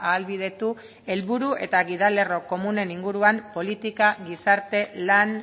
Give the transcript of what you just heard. ahalbidetu helburu eta gidalerro komunen inguruan politika gizarte lan